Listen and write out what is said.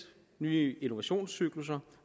nye innovationscyklusser